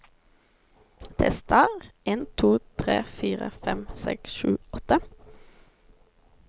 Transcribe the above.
Tester en to tre fire fem seks sju åtte